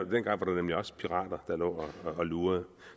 nemlig også pirater der lå og lurede